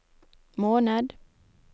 måned